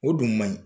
O dun man ɲi